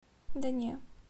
да не